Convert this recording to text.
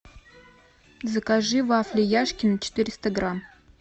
закажи вафли яшкино четыреста грамм